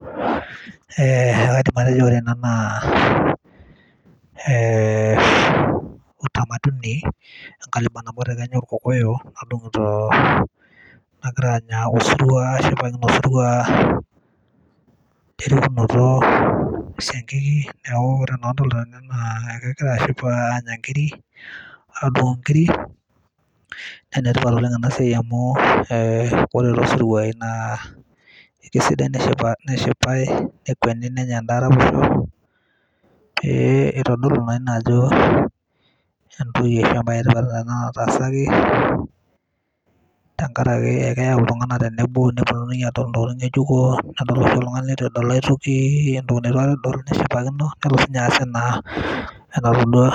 ekaidim atejo ore ena naa utamaduni enkabila nabo te kenya oo irkokoyo nagira anya osirua ashipakino osirua lerikunoto esiankiki neaku ore entoki nadolita tene naa kegira ashipakino andung inkiri naa enetipat oleng enea siai amu ore too siruai na keisidai teneshipae nekweni nenyae endaa araposho, pee ietodolu naa ina ajo tamaduni ana natasaki tenkaraki keyau iltung'anak tenebo nepuonunui adol ntokiting ng'ejuko nedol oltung'ani leitu edol aitoki entoki neitu aikata edol nelo sii inye ajo entoki natodua.